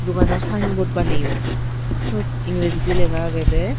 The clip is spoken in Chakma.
ubanor sign board baneyon siot ingrijindi lega agede.